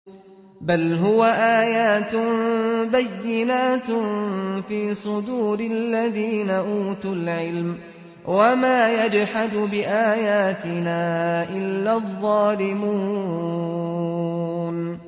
بَلْ هُوَ آيَاتٌ بَيِّنَاتٌ فِي صُدُورِ الَّذِينَ أُوتُوا الْعِلْمَ ۚ وَمَا يَجْحَدُ بِآيَاتِنَا إِلَّا الظَّالِمُونَ